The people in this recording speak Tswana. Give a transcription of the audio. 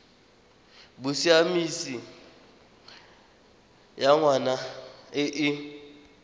bosiamisi ya ngwana e e